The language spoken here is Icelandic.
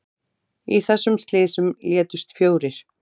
Í þessum slysum létust fjórir